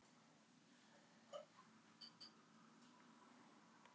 Hún tók skyrtuna upp af brettinu og vatt hana í höndunum.